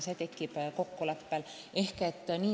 Peab olema kokkulepe.